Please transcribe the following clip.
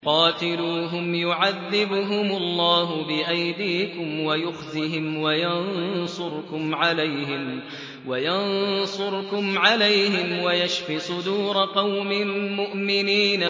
قَاتِلُوهُمْ يُعَذِّبْهُمُ اللَّهُ بِأَيْدِيكُمْ وَيُخْزِهِمْ وَيَنصُرْكُمْ عَلَيْهِمْ وَيَشْفِ صُدُورَ قَوْمٍ مُّؤْمِنِينَ